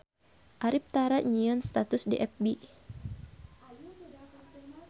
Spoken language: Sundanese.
Arif tara nyieun status di fb